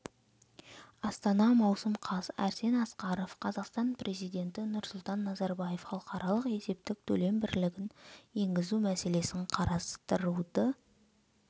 астана маусым қаз арсен асқаров қазақстан президенті нұрсұлтан назарбаев халықаралық есептік төлем бірлігін енгізу мәселесін қарастыруды